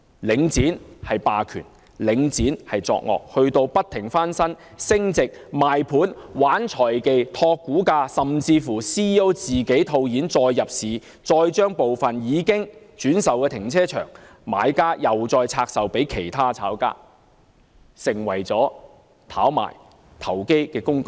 領展既是霸權，也屢屢作惡，不斷把物業翻新升值、賣盤、玩財技、托股價，甚至連其 CEO 也套現再入市，而部分已轉售的停車場，買家又再拆售給其他炒家，已成為了炒賣投機工具。